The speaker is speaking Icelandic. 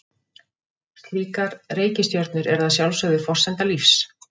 Slíkar reikistjörnur eru að sjálfsögðu forsenda lífs.